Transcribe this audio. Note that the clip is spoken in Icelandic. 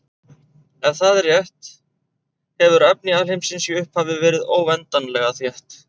Ef það er rétt hefur efni alheimsins í upphafi verið óendanlega þétt.